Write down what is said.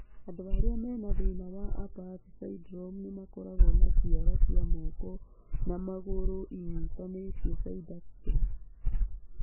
Andũ arĩa mena thĩna wa Apert syndrome nĩmakoragwo na ciara cia moko na magũrũ inyitanĩtio (syndactyly).